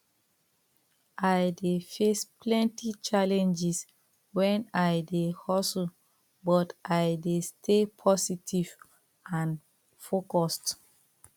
i dey face plenty challenges when i dey hustle but i dey stay positive and focused